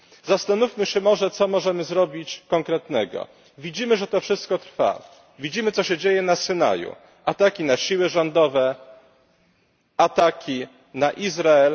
Zastanówmy się może, co możemy zrobić konkretnego. Widzimy, że to wszystko trwa, widzimy, co się dzieje na Synaju ataki na siły rządowe, ataki na Izrael.